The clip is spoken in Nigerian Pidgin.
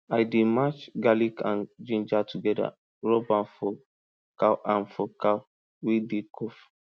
i dey mash garlic and ginger together rub am for cow am for cow wey dey cough